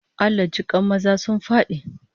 Allah jikan maza sun fadi!